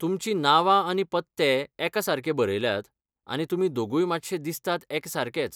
तुमचीं नावां आनी पत्ते एकासारके बरयल्यात, आनी तुमी दोगूय मात्शे दिसतात एकसारकेच.